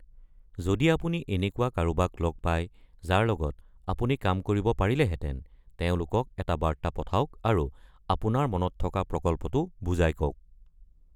যদি আপুনি এনেকুৱা কাৰোবাক লগ পায় যাৰ লগত আপুনি কাম কৰিব পাৰিলেহেতেন, তেওঁলোকক এটা বাৰ্তা পঠাওক আৰু আপোনাৰ মনত থকা প্ৰকল্পটো বুজাই কওক।